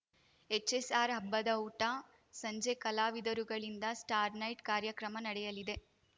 HSR ಹಬ್ಬದ ಊಟ ಸಂಜೆ ಕಲಾವಿದರುಗಳಿಂದ ಸ್ಟಾರ್‌ ನೈಟ್‌ ಕಾರ್ಯಕ್ರಮ ನಡೆಯಲಿದೆ